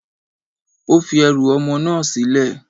Ó fi ẹrù ọmọ náà sílẹ̀.